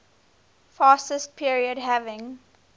fascist period having